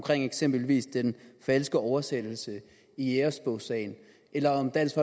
eksempelvis den falske oversættelse i jægerbogssagen eller om dansk